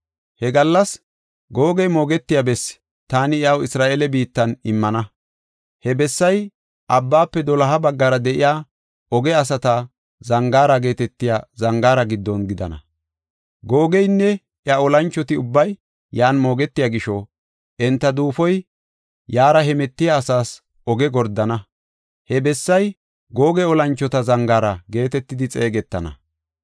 He gallas Googe moogetiya bessi taani iyaw Isra7eele biittan immana. He bessay abbaafe doloha baggara de7iya Ooge asata Zangaara geetetiya zangaara giddon gidana. Googeynne iya olanchoti ubbay yan moogetiya gisho, enta duufoy yaara hemetiya asaas oge gordana. He bessay, “Googe Olanchota zangaara” geetetidi xeegetana.